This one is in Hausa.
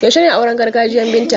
Yaushe ne auren gargajiyan Binta?